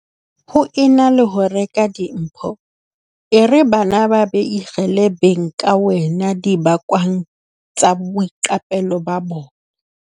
Ho e na le ho reka dimpho, e re bana ba beikhele beng ka wena dibakwang tsa boiqapelo ba bona.